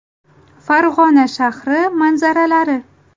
Farg‘ona shahri manzaralari.